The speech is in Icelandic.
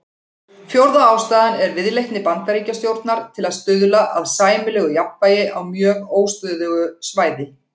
Fjórða ástæðan er viðleitni Bandaríkjastjórnar til að stuðla að sæmilegu jafnvægi á mjög óstöðugu svæði.